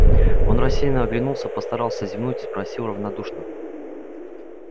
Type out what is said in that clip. он рассеянно оглянулся постарался зевнуть спросил равнодушно